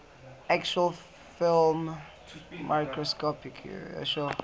actual film microscopically